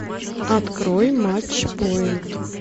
открой матч поинт